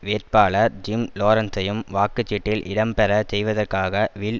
வேட்பாளர் ஜிம் லோரன்சையும் வாக்கு சீட்டில் இடம்பெற செய்வதற்காக வில்